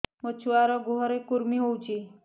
ମୋ ଛୁଆର୍ ଗୁହରେ କୁର୍ମି ହଉଚି